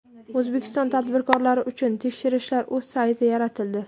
O‘zbekiston tadbirkorlari uchun tekshirishlar.uz sayti yaratildi.